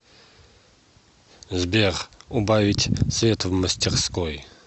сбер убавить свет в мастерской